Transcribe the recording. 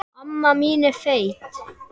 Slíkt framsal verður að skrá.